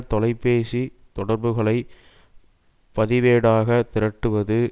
தொலைபேசி தொடர்புகளை பதிவேடாக திரட்டுவது